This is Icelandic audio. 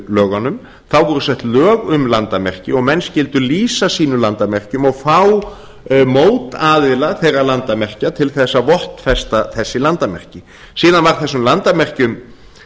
þjóðlendulögunum þá voru sett lög um landamerki og menn skyldu lýsa sínum landamerkjum og fá mótaðila þeirra landamerkja til þess að vottfesta þessi landamerki síðan var þessum landamerkjum